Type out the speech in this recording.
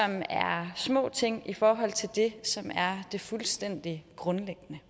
er små ting i forhold til det som er det fuldstændig grundlæggende